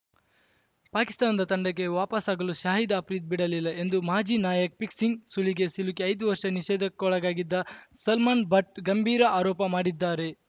ಪಾಕಿಸ್ತಾನದ ತಂಡಕ್ಕೆ ವಾಪಸಾಗಲು ಶಾಹಿದ್‌ ಅಪ್ರಿದಿ ಬಿಡಲಿಲ್ಲ ಎಂದು ಮಾಜಿ ನಾಯಕ ಪಿಕ್ಸಿಂಗ್‌ ಸುಳಿಗೆ ಸಿಲುಕಿ ಐದು ವರ್ಷ ನಿಷೇಧಕ್ಕೊಳಗಾಗಿದ್ದ ಸಲ್ಮಾನ್‌ ಬಟ್‌ ಗಂಭೀರ ಆರೋಪ ಮಾಡಿದ್ದಾರೆ